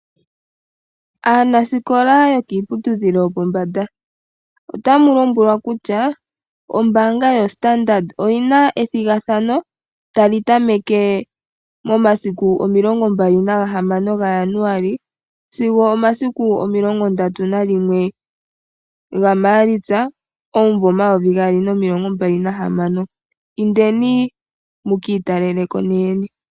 Aanasikola yo kiiputudhilo yo pombanda otamulombwelwa kutya ombaanga yo Standard oyina ethigathano tali tameke momasiku omilongombali na gahamo ga Januali sigo omasiku omilongo ndatu nalimwe ga maalitsa omumvo omayovi gaali nomilongo mbali nahamano, indeni muki italeleko ne yene .